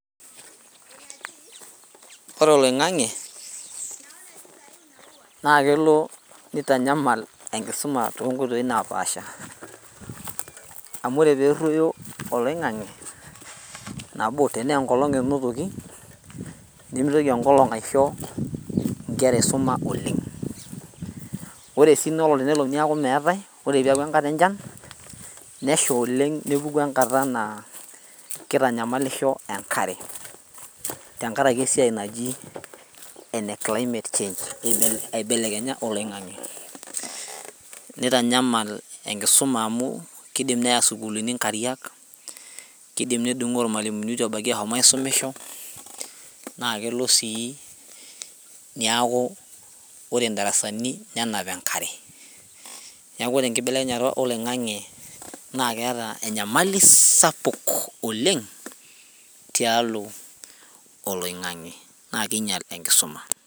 Ore oloing'ang'e naa kelo nitanyamal enkisuma tonkoitoi napaasha amu ore perruoyo oloing'ang'e nabo tenaa enkolong enotoki nimitoki enkolong aisho inkera isuma oleng ore sii ina olong tenelo niaku meetae ore piaku enkata enchan nesha oleng nepuku enkata naa kitanyamalisho enkare tenkarake esiai naji ene climate change aibelekenya oloing'ang'e nitanyamal enkisuma amu kidim neya isukulini inkariak kidim nedung'oo irmalimuni itu ebaiki ahom aisumisho naa kelo sii niaku ore indarasani nenap enkare neku ore enkibelekenyata oloing'ang'e naa keeta enyamali sapuk oleng tialo oloing'ang'e naa keinyial enkisuma.